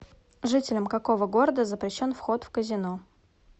жителям какого города запрещен вход в казино